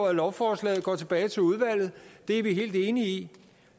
at lovforslaget går tilbage til udvalget det er vi helt enige i